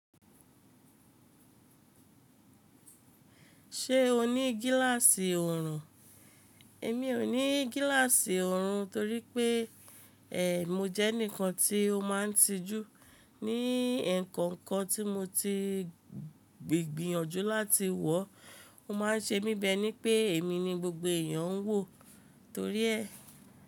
Ṣé o ní gíláàsì òòrùn? Èmi ò ní gíláàsì òòrùn torí pé, ẹ, mo jẹ́ enikan tí ó máa ń tijú. Ní e kan kan tí mo ti gbìyànjú láti wọ̀, ó máa ń ṣe mi bi e ní pé èmi ni gbogbo èèyàn ń wò torí ẹ.